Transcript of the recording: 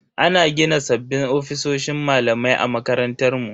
Ana gina sabbin ofisoshin malamai a makarantar mu.